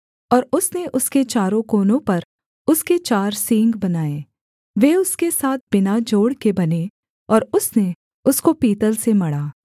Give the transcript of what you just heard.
और उसने उसके चारों कोनों पर उसके चार सींग बनाए वे उसके साथ बिना जोड़ के बने और उसने उसको पीतल से मढ़ा